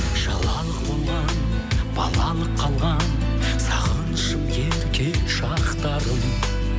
шалалық болған балалық қалған сағынышым ерке шақтарым